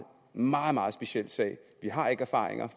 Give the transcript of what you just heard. meget meget speciel sag vi har ikke erfaringer